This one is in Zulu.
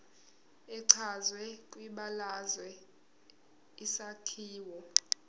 echazwe kwibalazwe isakhiwo